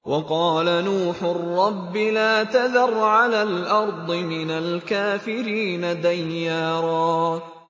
وَقَالَ نُوحٌ رَّبِّ لَا تَذَرْ عَلَى الْأَرْضِ مِنَ الْكَافِرِينَ دَيَّارًا